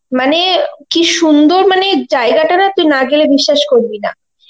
মানে কি সুন্দর মানে জায়গা টা না তুই না গেলে বিশ্বাস করবি না.